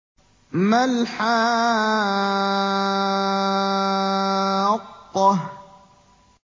مَا الْحَاقَّةُ